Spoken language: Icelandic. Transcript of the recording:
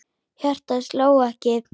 Hjartað sló ekki.